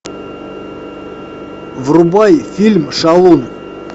врубай фильм шалун